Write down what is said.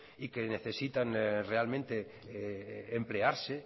y que necesitan realmente emplearse